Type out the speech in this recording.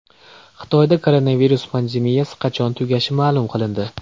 Xitoyda koronavirus pandemiyasi qachon tugashi ma’lum qilindi.